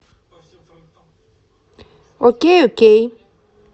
окей окей